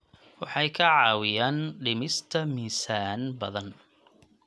Waxay kaa caawinayaan dhimista miisaan badan.